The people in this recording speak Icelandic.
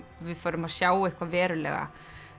við förum að sjá eitthvað verulega